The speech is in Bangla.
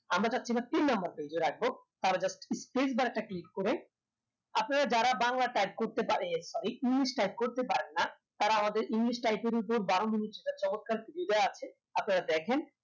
আমরা চাচ্ছি এটা তিন number page এ রাখব তার just space bar টা click করে আপনারা যারা বাংলা type করতে পারে sorry english type করতে পারেন না তারা আমাদের english type এর ভিতর বারো মিনিটের একটা চমৎকার video দেওয়া আছে আপনারা দেখেন